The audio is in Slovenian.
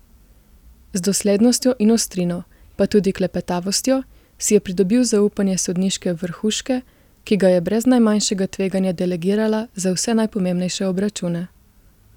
Z doslednostjo in ostrino, pa tudi klepetavostjo, si je pridobil zaupanje sodniške vrhuške, ki ga je brez najmanjšega tveganja delegirala za vse najpomembnejše obračune.